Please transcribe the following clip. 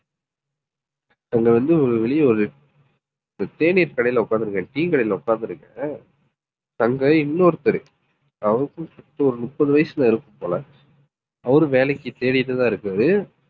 அங்க வந்து ஒரு வெளிய ஒரு ஒரு தேநீர் கடையில உட்கார்ந்து இருக்கேன் tea க்கடையில உட்கார்ந்து இருக்கேன். அங்க இன்னொருத்தரு அவருக்கும் சேர்த்து ஒரு முப்பது வயசுல இருக்கும் போல அவரும் வேலைக்கு தேடிட்டுதான் இருக்காரு